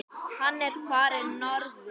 Hann er farinn norður.